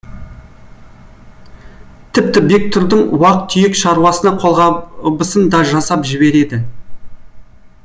тіпті бектұрдың уақ түйек шаруасына қолғабысын да жасап жібереді